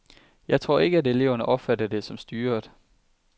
Jeg tror ikke, at eleverne opfatter det som styret.